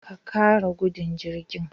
Ka kara gudun jirgin